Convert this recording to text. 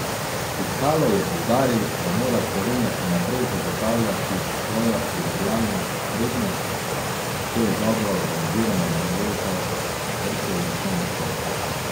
Pikalo je poudaril, da mora Slovenija še naprej zagotavljati svojo primerjalno prednost, to je dobro organizirano mrežo vrtcev in osnovnih šol.